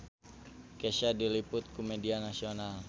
Kesha diliput ku media nasional